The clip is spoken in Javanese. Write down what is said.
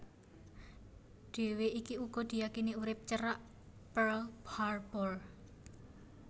Dèwi iki uga diyakini urip cerak Pearl Harbor